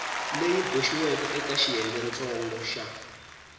leyi boxiweke eka xiyengentsongo xa